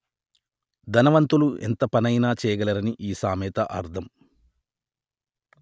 ధనవంతులు ఎంతపనైనా చేయగలరని ఈ సామెత అర్థం